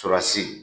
Surasi